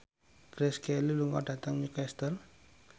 Grace Kelly lunga dhateng Newcastle